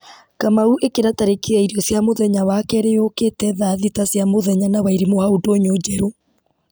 kamau ĩkĩra tarĩki ya irio cia mũthenya wakerĩ yũkĩte thaa thita cia mũthenya na wairimũ hau ndũnyũ njerũ